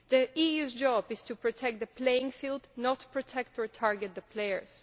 The EU's job is to protect the playing field, not protect or target the players.